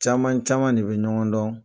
Caman caman de bɛ ɲɔgɔn dɔn.